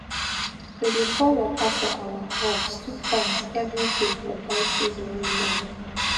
we dey pour water for our crops two times every day for dry season way long